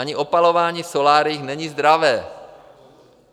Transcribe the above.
Ani opalování v soláriích není zdravé.